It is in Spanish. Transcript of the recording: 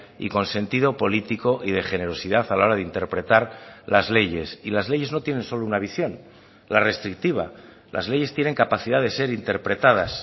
y con sentido político y de generosidad a la hora de interpretar las leyes y las leyes no tienen solo una visión la restrictiva las leyes tienen capacidad de ser interpretadas